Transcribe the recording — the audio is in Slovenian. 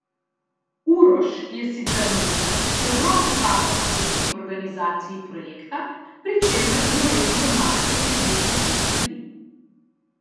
Uroš je sicer novinar, ki ogromno časa posveti organizaciji projekta, pri čemer mu redno pomaga še približno pet ljudi.